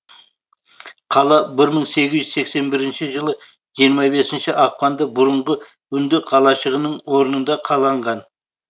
қала бір мың сегіз жүз сексен бірінші жылы жиырма бесінші ақпанда бұрынғы үнді қалашығының орнында қаланған